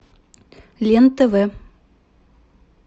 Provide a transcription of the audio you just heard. лен тв